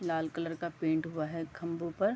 लाल colour का paint हुआ है खंबों पर।